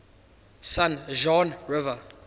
san juan river